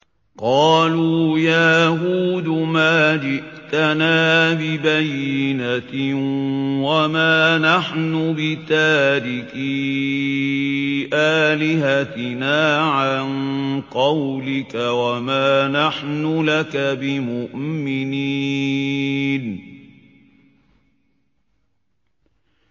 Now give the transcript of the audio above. قَالُوا يَا هُودُ مَا جِئْتَنَا بِبَيِّنَةٍ وَمَا نَحْنُ بِتَارِكِي آلِهَتِنَا عَن قَوْلِكَ وَمَا نَحْنُ لَكَ بِمُؤْمِنِينَ